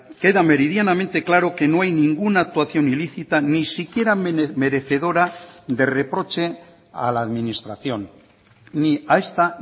queda meridianamente claro que no hayninguna actuación ilícita ni siquiera merecedora de reproche a la administración ni a esta